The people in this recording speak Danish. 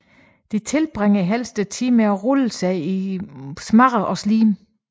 De tilbringer helst tiden med at rulle sig i mudder og slim